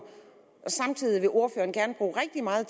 samtidig vil ordføreren gerne bruge rigtig meget